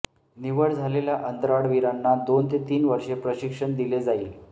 निवड झालेल्या अंतराळवीरांना दोन ते तीन वर्षे प्रशिक्षण दिले जाईल